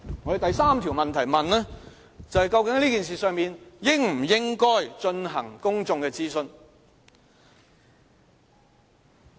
我們第三條問題是問，究竟這事宜應否進行公眾諮詢？